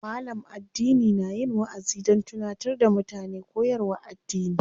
Malam addini na yin waʼazi don tunatar da mutane koyarwar addini.